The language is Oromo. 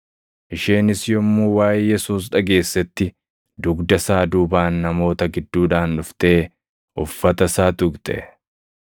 Isheenis yommuu waaʼee Yesuus dhageessetti dugda isaa duubaan namoota gidduudhaan dhuftee uffata isaa tuqxe.